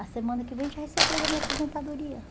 A semana que vem, a gente vai receber da minha aposentadoria.